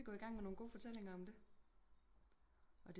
Nu kan vi gå i gang med nogen gode fortællinger om det